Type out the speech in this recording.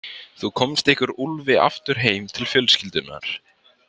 Þú komst ykkur Úlfi aftur heim til fjölskyldunnar.